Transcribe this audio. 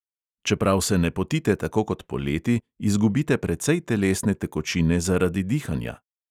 Čeprav se ne potite tako kot poleti, izgubite precej telesne tekočine zaradi dihanja.